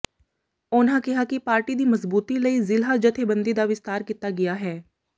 ਉਨ੍ਹਾਂ ਕਿਹਾ ਕਿ ਪਾਰਟੀ ਦੀ ਮਜ਼ਬੂਤੀ ਲਈ ਜ਼ਿਲ੍ਹਾ ਜਥੇਬੰਦੀ ਦਾ ਵਿਸਤਾਰ ਕੀਤਾ ਗਿਆ ਹੈ